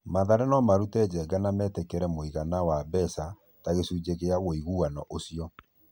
Mathare nomarute Njenga na metĩkĩre mũigana wa mbeca ta gĩcunjĩ gĩa wũiguano ũcio.